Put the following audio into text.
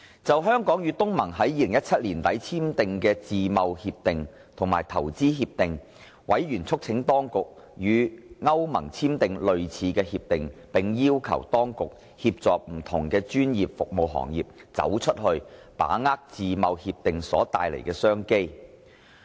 就香港與東南亞國家聯盟於2017年年底簽訂的自由貿易協定和投資協定，委員促請當局與歐洲聯盟簽訂類似協定，並要求當局協助不同專業服務行業"走出去"，把握自貿協定所帶來的商機。